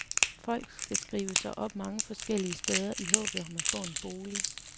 Folk skal skrive sig op mange forskellige steder i håbet om at få en bolig.